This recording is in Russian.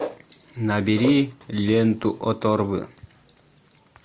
набери ленту оторвы